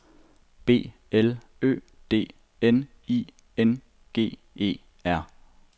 B L Ø D N I N G E R